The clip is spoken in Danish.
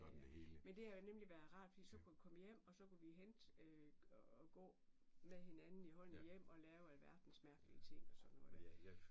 Men det har nemlig været rart fordi så kunne jeg komme hjem og så kunne vi vi hentet og gå med hinanden i hånden hjem og lave alverdens mærkelig ting og sådan noget der